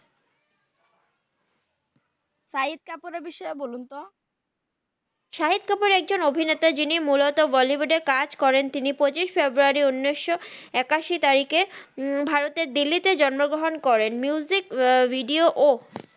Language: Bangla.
সাহিদ কাপুরের বিষয়ে বলুন তো সাহিদ কাপুর একজন অভিনেতা জিনি মুলত বলিউড এ কাজ করেন তিনি পচিস ফেব্রিয়ারি উনিস একাসি তারিখে দিল্লি তে জিওন্ম গ্রাহান করেন মিউজিক ভিদে অ